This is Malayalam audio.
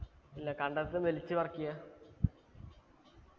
ഇല്ല കണ്ടത്തിന്ന് വലിച്ചു പറിക്ക